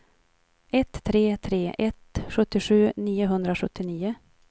ett tre tre ett sjuttiosju niohundrasjuttionio